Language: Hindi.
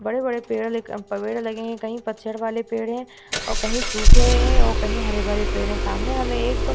बड़े-बड़े पेड़ ले के पेड़ लगे है कही पतझड़ वाली पेड़ है और कही सूखे है और कही हरे-भरे पेड़ है सामने हमे एक --